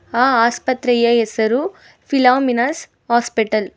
ಆ ಆಸ್ಪತ್ರೆಯ ಹೆಸರು ಫಿಲಾಮಿನಸ್ ಹಾಸ್ಪಿಟಲ್ .